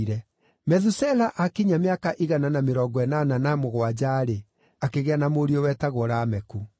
Methusela aakinyia mĩaka igana na mĩrongo ĩnana na mũgwanja-rĩ, akĩgĩa na mũriũ wetagwo Lameku.